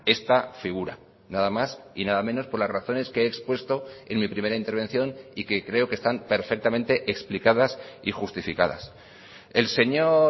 esta figura nada más y nada menos por las razones que he expuesto en mi primera intervención y que creo que están perfectamente explicadas y justificadas el señor